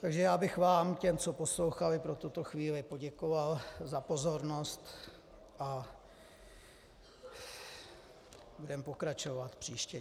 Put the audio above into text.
Takže já bych vám těm, co poslouchali pro tuto chvíli poděkoval za pozornost a budeme pokračovat příště.